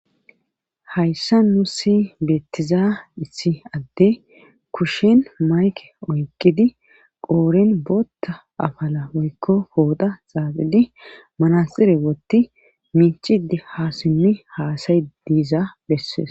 hayssa nusi beettiza issi adde kushin mayke oyqqidi qooren bootta afala woykko pooxa xaaxidi manaxire wotti miicide ha simmi haasayid diiza bessees